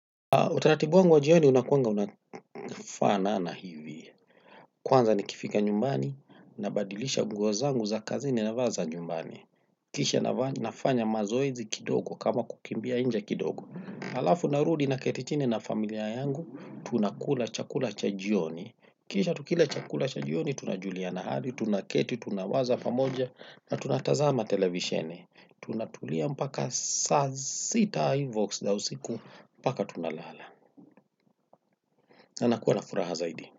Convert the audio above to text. Utaratibu wangu wa jioni unakuanga unafanana hivi. Kwanza nikifika nyumbani, nabadilisha nguo zangu za kazini navaa za nyumbani. Kisha nafanya mazoezi kidogo kama kukimbia nje kidogo. Halafu narudi na keti chini na familia yangu, tunakula chakula cha jioni. Kisha tukila chakula cha jioni, tunajulianq hali, tunaketi, tunawaza pamoja, na tunatazama televisheni. Tunatulia mpaka saa sita hivo za usiku, mpaka tunalala. Anakuwa na furaha zaidi.